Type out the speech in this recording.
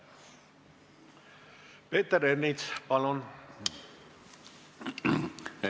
Peeter Ernits, palun!